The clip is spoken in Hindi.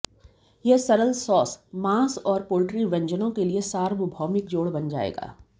यह सरल सॉस मांस और पोल्ट्री व्यंजनों के लिए सार्वभौमिक जोड़ बन जाएगा